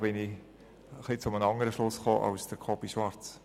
Und dabei bin ich zu einem etwas anderen Schluss gekommen als Jakob Schwarz.